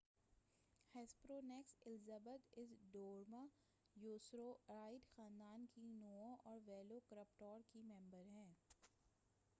Hesperonychus Elizabeth اس dromaeosaurid خاندان کی نُوع اور ویلوکراپٹور کا ممبر ہے